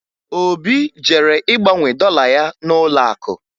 Obi jere ịgbanwe dọla ya n'ụlọakụ